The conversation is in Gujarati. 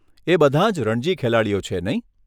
એ બધાં જ રણજી ખેલાડીઓ છે, નહીં?